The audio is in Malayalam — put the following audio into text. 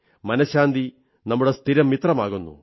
മനശ്ശാന്തി നമ്മുടെ സ്ഥിരം മിത്രമാകുന്നു